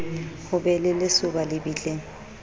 ho be le lesoba lebitleng